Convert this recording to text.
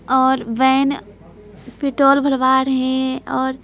और बहन पिटोल भरवा रहे हैंऔर --